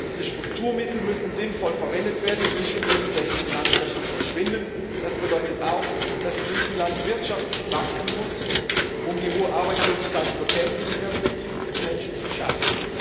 Diese Strukturmittel müssen sinnvoll verwendet werden und nicht in irgendwelchen Finanzlöchern verschwinden. Das bedeutet auch, dass Griechenland wirtschaftlich wachsen muss, um die hohe Arbeitslosigkeit zu bekämpfen und Perspektiven für die Menschen zu schaffen.